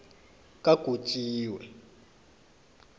kagotjiwe